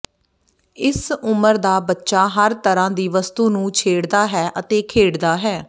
ਇਸ ਉਮਰ ਦਾ ਬੱਚਾ ਹਰ ਤਰ੍ਹਾਂ ਦੀ ਵਸਤੂ ਨੂੰ ਛੇੜਦਾ ਹੈ ਅਤੇ ਖੇਡਦਾ ਹੈ